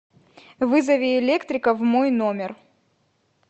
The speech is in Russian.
вызови электрика в мой номер